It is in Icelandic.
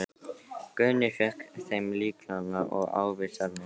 Guðni fékk þeim lyklana og ávísanirnar.